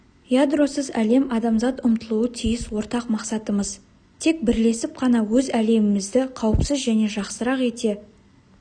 ядросыз әлем адамзат ұмтылуы тиіс ортақ мақсатымыз тек бірлесіп қана өз әлемімізді қауіпсіз және жақсырақ ете